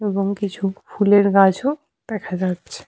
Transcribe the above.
এবং কিছু ফুলের গাছও দেখা যাচ্ছে ।